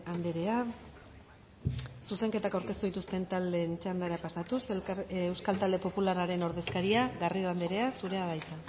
andrea zuzenketak aurkeztu dituzten taldeen txandara pasatuz euskal talde popularraren ordezkaria garrido andrea zurea da hitza